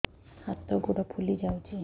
ହାତ ଗୋଡ଼ ଫୁଲି ଯାଉଛି